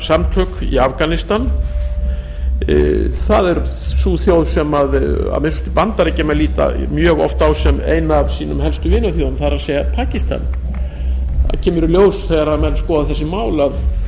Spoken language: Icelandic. skæruliðasamtök í afganistan er sú þjóð sem að minnsta kosti bandaríkjamenn líta mjög oft á sem eina af sínum helstu vinaþjóðum gas pakistan í ljós kemur þegar menn skoða þessi mál að